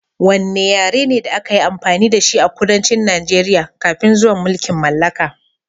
Wanne yare ne da aka yi amfani da shi a kudancin Najeriya kafin zuwan mulkin mallaka?